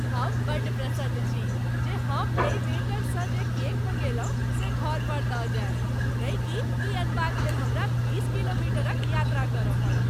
हम बड्ड प्रसन्न छी जे हम एहि बेकरसँ जे केक मंगौलहुँ से घर पर दऽ जायत नहि कि ई अनबाक लेल हमरा बीस किलोमीटरक यात्रा करय पड़त।